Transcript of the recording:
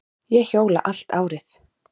Ég hjóla allt árið.